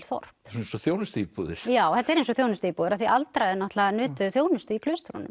þorp svona eins og þjónustuíbúðir já þetta er eins og þjónustuíbúðir af því að aldraðir náttúrulega nutu þjónustu í